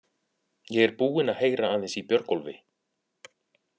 Ég er búinn að heyra aðeins í Björgólfi.